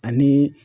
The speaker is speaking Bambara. Ani